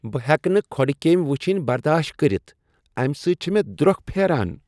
بہٕ ہیٚکہٕ نہٕ کھۄڑٕ کیٚمۍ وٕچھن برداشی کٔرتھ، امہ سۭتۍ چھےٚ مےٚ درٛۄکھ پھیران۔